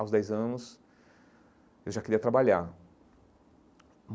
Aos dez anos, eu já queria trabalhar.